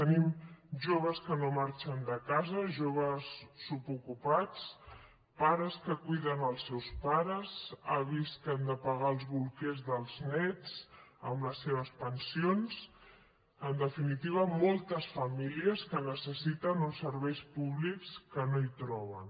tenim joves que no marxen de casa joves subocupats pares que cuiden els seus pares avis que han de pagar els bolquers dels néts amb les seves pensions en definitiva moltes famílies que necessiten uns serveis públics que no troben